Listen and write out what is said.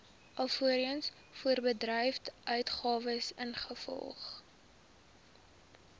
alvorens voorbedryfsuitgawes ingevolge